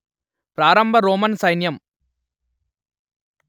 ప్రారంభ రోమన్ సైన్యం